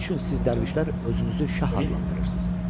Nə üçün siz Dərvişlər özünüzü şah adlandırırsız?